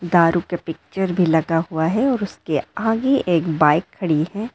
दारू के पिक्चर भी लगा हुआ है और उसके आगे एक बाइक खड़ी है।